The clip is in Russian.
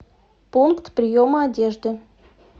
пункт приема одежды